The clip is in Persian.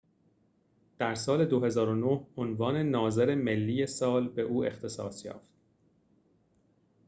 در سال ۲۰۰۹ عنوان ناظر ملی سال به او اختصاص یافت